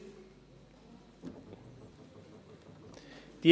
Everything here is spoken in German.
Kommissionspräsident der FiKo.